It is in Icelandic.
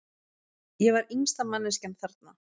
Ég var yngsta manneskjan þarna.